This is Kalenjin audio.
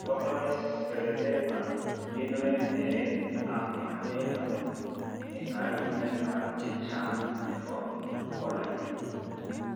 Localozed sclerodema kenoeen nereet ab makateet amun eng' kayumeet chechang' nebo colllagen